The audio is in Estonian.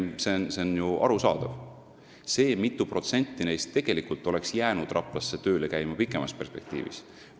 See on ju arusaadav, aga me ei tea, mitu protsenti neist oleks jäänud Raplasse tööle käima pikemas perspektiivis.